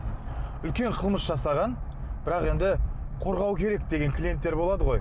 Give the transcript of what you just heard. үлкен қылмыс жасаған бірақ енді қорғау керек деген клиенттер болады ғой